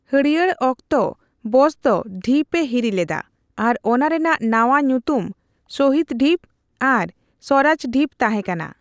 ᱦᱟᱹᱲᱦᱟᱹᱭ ᱚᱠᱛᱚ ᱵᱚᱥ ᱫᱚ ᱰᱷᱤᱯ ᱮ ᱦᱤᱨᱤ ᱞᱮᱫᱟ ᱟᱨ ᱚᱱᱟ ᱨᱮᱱᱟᱜ ᱱᱟᱣᱟ ᱧᱩᱛᱩᱢ 'ᱥᱚᱦᱤᱫᱼᱫᱤᱯ' ᱟᱨ ᱥᱣᱟᱨᱟᱡᱽᱼᱰᱤᱯ' ᱛᱟᱦᱮᱸ ᱠᱟᱱᱟ᱾